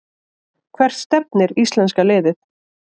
Hvert stefnir íslenska liðið